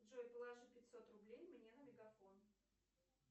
джой положи пятьсот рублей мне на мегафон